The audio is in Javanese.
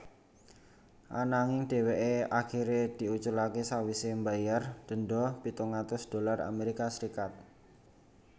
Ananging dheweké akiré diuculaké sawisé mbayar denda pitung atus dolar Amerika Serikat